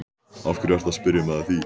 Af hverju ertu að spyrja mig að því?